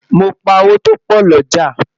mọ pá owó topo l'ọja